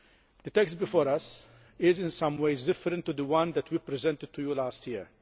The text before us is, in some ways, different to the one that we presented to you last year.